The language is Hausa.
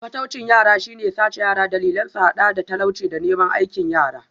Fataucin yara shi ne sace yara, dalilan sun hada da talauci da neman aikin yara.